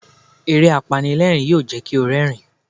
Eré apanilẹ́rìń yóò jẹ́ kí o rẹ́rìń.